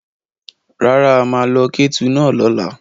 Rárá, a máa lo kẹ́tù náà lọ́la.